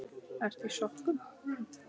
Ertu í sokkum?